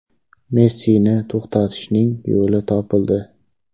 Messini to‘xtatishning yo‘li topildi.